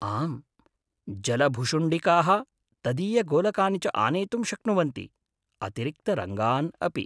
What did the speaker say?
आम्, जलभुशुण्डिकाः तदीयगोलकानि च आनेतुं शक्नुवन्ति, अतिरिक्तरङ्गान् अपि।